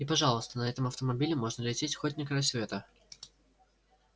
и пожалуйста на этом автомобиле можно лететь хоть на край света